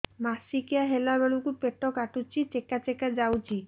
ମାସିକିଆ ହେଲା ବେଳକୁ ପେଟ କାଟୁଚି ଚେକା ଚେକା ଯାଉଚି